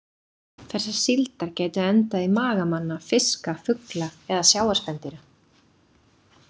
Þessar síldar gætu endað í maga manna, fiska, fugla eða sjávarspendýra.